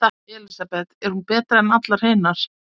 Elísabet: Er hún betri en allar hinar?